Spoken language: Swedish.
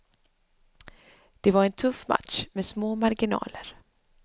Det var en tuff match med små marginaler.